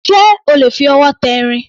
Ṣé o lè fi ọwọ́ tẹ irin?